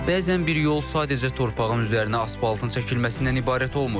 Bəzən bir yol sadəcə torpağın üzərinə asfaltın çəkilməsindən ibarət olmur.